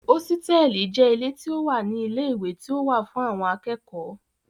Hósítẹ̀ẹ̀lì jẹ́ ilé tí ó wà ní ilé ìwé tí ó wà fún àwọn akẹ́kọ̀ọ́